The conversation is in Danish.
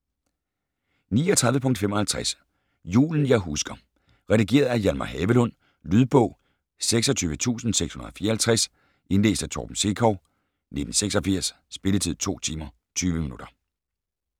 39.55 Julen jeg husker Redigeret af Hjalmar Havelund Lydbog 26654 Indlæst af Torben Sekov, 1986. Spilletid: 2 timer, 20 minutter.